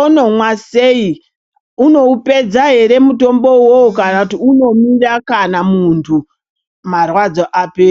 onomwa sei, unoupedza here mutombo iwowo kana kuti unomira kana muntu marwadzo apera.